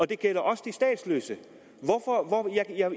det gælder også de statsløse